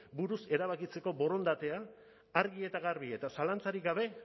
buruz erabakitzeko borondatea argi eta garbi eta zalantzarik gabe